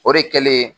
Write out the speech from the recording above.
O de kɛlen